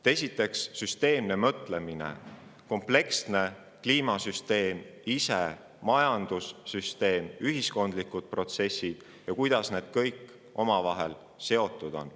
Esiteks, süsteemne mõtlemine: arusaam, kuidas toimib kompleksne kliimasüsteem, majandussüsteem, ühiskondlikud protsessid ja see, kuidas kõik need omavahel seotud on.